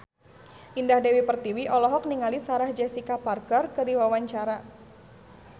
Indah Dewi Pertiwi olohok ningali Sarah Jessica Parker keur diwawancara